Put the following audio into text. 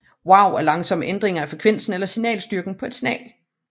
Wow er langsomme ændringer af frekvensen eller signalstyrken på et signal